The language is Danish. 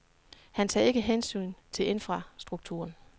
Han tager ikke hensyn til infrastrukturen.